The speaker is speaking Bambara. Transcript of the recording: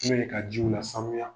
u la sanuya